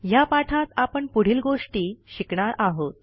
ह्या पाठात आपण पुढील गोष्टी शिकणार आहोत